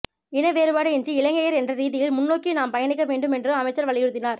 இன வேறுபாடு இன்றி இலங்கையர் என்ற ரீதியில் முன்னோக்கி நாம் பயணிக்க வேண்டும் என்றும் அமைச்சர் வலியுறுத்தினார்